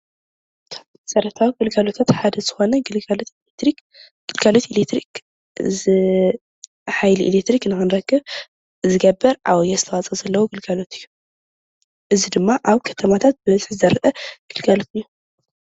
መሰራተዊ ግልጋሎት ሓደ ዝኮነ ግልጋሎት ኤሌትሪክ ሓይሊ ኤሌትሪክ ንክንረክብ ዝገብር ዓብይ ኣስተዋፅኦ ዘለዎ ግልጋሎት እዩ፡፡ እዚ ድማ ኣብ ከተማታት ብበዝሒ ዝረአ ግልጋሎት እዩ፡፡